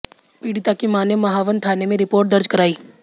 पीड़िता की मां ने महावन थाने में रिपोर्ट दर्ज कराई